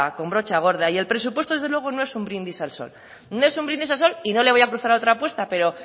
con brocha gorda y el presupuesto desde luego no es un brindis al sol no es un brindis al sol y no le voy a cruza otra apuesta pero